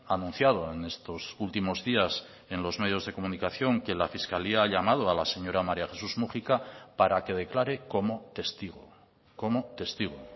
ha anunciado en estos últimos días en los medios de comunicación que la fiscalía ha llamado a la señora maría jesús múgica para que declare como testigo como testigo